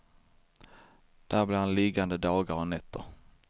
Där blir han liggande dagar och nätter.